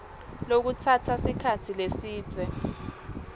lokutsatsa sikhatsi lesidze